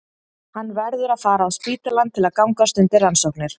Hann verður að fara á spítalann til að gangast undir rannsóknir.